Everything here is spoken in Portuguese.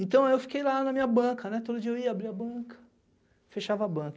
Então eu fiquei lá na minha banca, né, todo dia eu ia abrir a banca, fechava a banca.